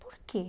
Por quê?